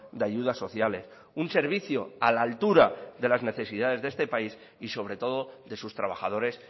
de ayudas sociales un servicio a la altura de las necesidades de este país y sobre todo de sus trabajadores